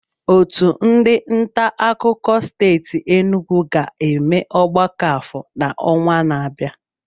Otu ndị nta akụkọ steeti Enugwu ga-eme ọgbakọ afọ n'ọnwa na-abịa